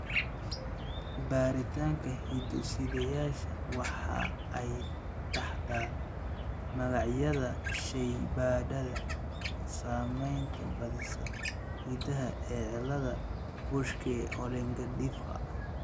baritanka hiddo-sideyaasha waxa ay taxdaa magacyada shaybaadhada samaynaya baadhista hiddaha ee ciladaha Buschke Ollendorffka.